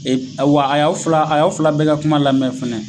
a y'aw fila a y'aw fila bɛɛ ka kuma lamɛn fɛnɛ